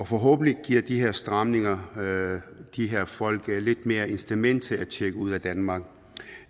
forhåbentlig giver de her stramninger de her folk lidt flere incitamenter til at tjekke ud af danmark